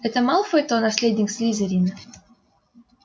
это малфой то наследник слизерина